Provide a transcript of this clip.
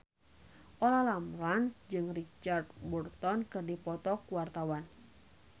Olla Ramlan jeung Richard Burton keur dipoto ku wartawan